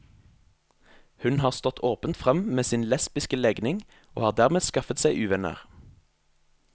Hun har stått åpent frem med sin lesbiske legning, og har dermed skaffet seg uvenner.